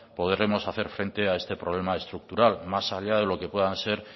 podremos hacer frente a este problema estructural más allá de lo que puedan ser